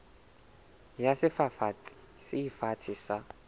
ya sefafatsi se fatshe sa